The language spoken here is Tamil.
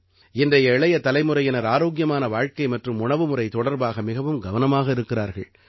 இன்றைய இளைய தலைமுறையினர் ஆரோக்கியமான வாழ்க்கை மற்றும் உணவுமுறை தொடர்பாக மிகவும் கவனமாக இருக்கிறார்கள்